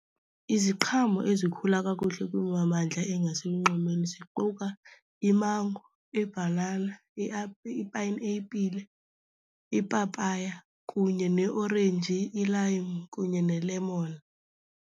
Iziqhamo ezikhula kakuhle kwimimandla engaselunxwemeni ziquka imango, ibhanana, ipayinepile, ipapaya kunye neorenji, ilayimu kunye nelemoni.